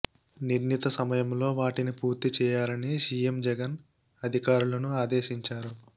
నిర్ణిత సమయంలో వాటిని పూర్తి చేయాలని సీఎం జగన్ ఆధికారులను ఆదేశించారు